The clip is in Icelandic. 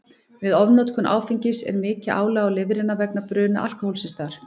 Við ofnotkun áfengis er mikið álag á lifrina vegna bruna alkóhólsins þar.